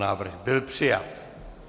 Návrh byl přijat.